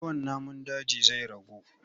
Yawan namun daji zai ragu.